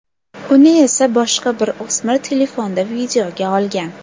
Uni esa boshqa bir o‘smir telefonda videoga olgan.